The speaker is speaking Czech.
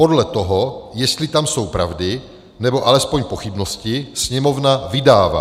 Podle toho, jestli jsou tam pravdy, nebo alespoň pochybnosti, Sněmovna vydává.